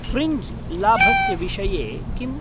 Fringe लाभस्य विषये किम्?